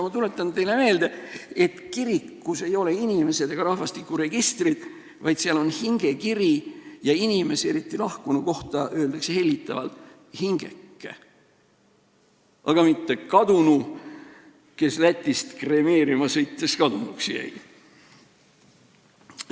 Ma tuletan teile meelde, et kirikus ei ole inimesed ega rahvastikuregistrid, vaid seal on hingekiri, ja inimese, eriti lahkunu kohta öeldakse hellitavalt "hingeke", aga mitte "kadunu", kes Lätist siia kremeerimisele sõites kadunuks jäi.